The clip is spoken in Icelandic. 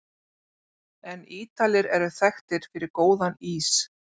En Ítalir eru þekktir fyrir góðan ís!